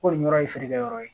Ko nin yɔrɔ ye feerekɛ yɔrɔ ye